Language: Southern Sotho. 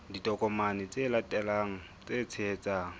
ditokomane tse latelang tse tshehetsang